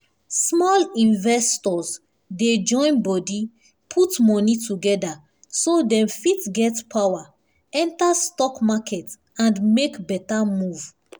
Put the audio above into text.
small investors dey join body put money together so dem fit get power enter stock market and make better move.